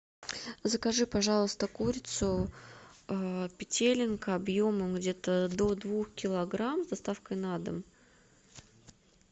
закажи пожалуйста курицу петелинка объемом где то до двух килограмм с доставкой на дом